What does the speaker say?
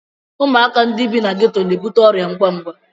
Ụmụaka ndị bi na geto na-ebute ọrịa ngwa ngwa.